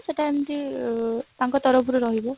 ସେଟା ଏମତି ଏ ତାଙ୍କ ତରଫରୁ ରହିବ